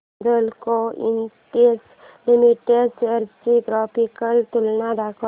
Hindalco industries limited shares ची graphical तुलना दाखव